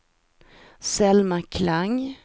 Selma Klang